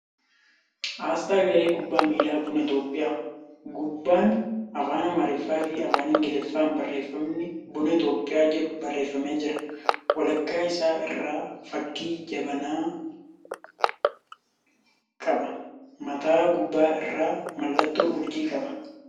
Asxaa garee kubbaa miilaa buna Itiyoophiyaa. Gubbaan afaan Amaariffaa fi Afaan Ingiliffaan barreeffamni ' Buna Itiyoophiyaa ' jedhu barreeffamee jira. Walakkaa isaa irraa fakkii jabanas qaba. Mataa gubbaa irraa mallattoo urjii qaba.